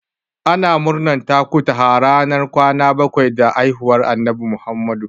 Ana murnan takutaha ranar kwana bakwai da haihuwar Annabi Muhammadu.